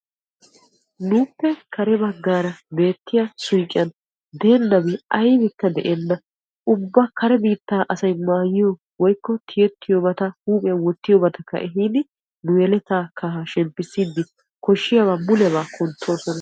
nuuppe kare bagaara beettiya suuqqiyan deenabi aybikka de'enna. ubba kare biittaa asay maayiyo woykko tiyettiyobata huuphiyan woyyiyobattakka ehiidi nu yeletaa kahaa shemppisiid koshiyaabaa mulebaa kuntoosona.